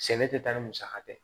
Sɛnɛ tɛ taa ni musaka tɛ